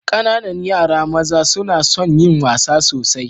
Ƙananan yara maza suna son yin wasa sosai.